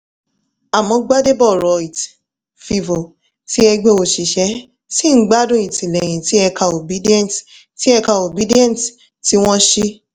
àmọ́ gbadebo rhodes-vivour ti ẹgbẹ́ òṣìṣẹ́ ṣì ń gbádùn ìtìlẹ́yìn ti ẹ̀ka obidient tí ẹ̀ka obidient tí wọ́n sì